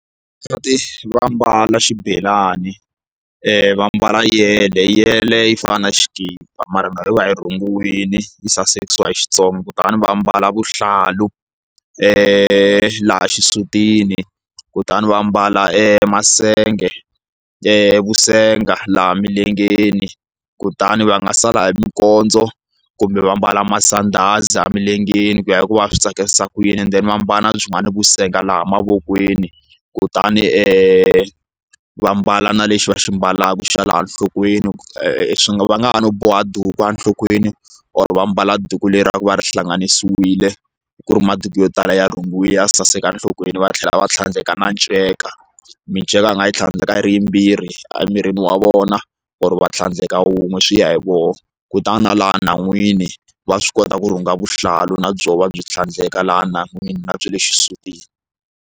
Vavasati va ambala xibelani va mbala yele yeleyo yi fana na xikipa mara yi va yi rhungiwile yi sasekisiwa hi Xitsonga kutani va mbala vuhlalu laha xisutini kutani va mbala e masenge vusenga laha emilengeni kutani va nga sala hi minkondzo kumbe va mbala masandhazi emilengeni ku ya hi ku va swi tsakisa ku yini and then va ambala byinwani vu senga laha mavokweni kutani va mbala na lexi va xi mbalaka xa laha enhlokweni swi nga va nga ha no boha maduku enhlokweni or va mbala duku leri va ri hlanganisiwile ku ri maduku yo tala ya rhungiwile saseka enhlokweni va tlhela va tlhandleka na nceka miceka a nga yi tlhandleka hi ri yimbirhi emirini wa vona or va tlhandleka wun'we swi ya hi vona kutani na laha nhan'wini va swi kota ku rhunga vuhlalu na byona byi tlhandleka laha nhan'wini na byele xisutini.